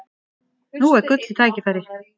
Nú er gullið tækifæri!